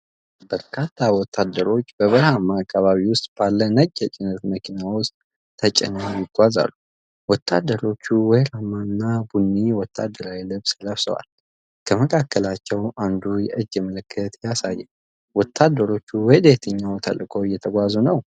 በርካታ ወታደሮች በበረሃማ አካባቢ ውስጥ ባለ ነጭ የጭነት መኪና ውስጥ ተጭነው ይጓዛሉ። ወታደሮቹ ወይራማ እና ቡኒ ወታደራዊ ልብስ ለብሰዋል። ከመካከላቸው አንዱ የእጅ ምልክት ያሳያል። ወታደሮቹ ወደየትኛው ተልእኮ እየተጓዙ ነው?